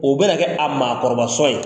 O bɛ na kɛ a maakɔrɔba sɔn ye.